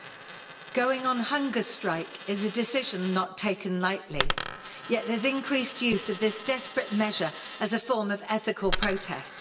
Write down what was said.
Madam President, going on hunger strike is a decision not taken lightly, yet there is increased use of this desperate measure as a form of ethical protest.